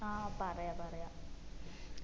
ആ പറയാ പറയാ